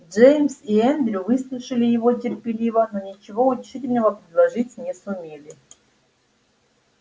джеймс и эндрю выслушали его терпеливо но ничего утешительного предложить не сумели